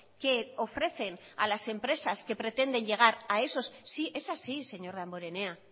que ofrecen a las empresas que pretenden llegar a esos sí es así señor damborenea